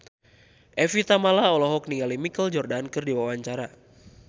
Evie Tamala olohok ningali Michael Jordan keur diwawancara